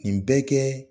Nin bɛɛ kɛ